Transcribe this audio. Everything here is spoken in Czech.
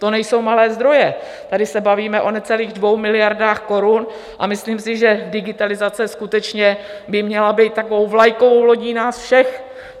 To nejsou malé zdroje, tady se bavíme o necelých 2 miliardách korun a myslím si, že digitalizace skutečně by měla být takovou vlajkovou lodí nás všech.